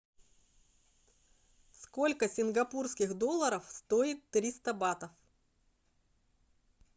сколько сингапурских долларов стоит триста батов